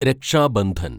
രക്ഷാ ബന്ധൻ